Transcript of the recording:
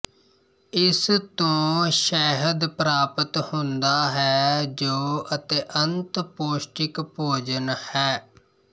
ਇਸ ਤੋਂ ਸ਼ਹਿਦ ਪ੍ਰਾਪਤ ਹੁੰਦਾ ਹੈ ਜੋ ਅਤਿਅੰਤ ਪੌਸ਼ਟਿਕ ਭੋਜਨ ਹੈ